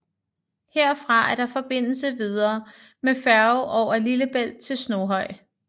Herfra var der forbindelse videre med færge over Lillebælt til Snoghøj